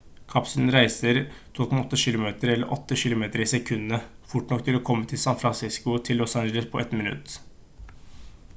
kapselen reiser 12,8 kilometer eller 8 kilometer i sekundet fort nok til å komme fra san francisco til los angeles på ett minutt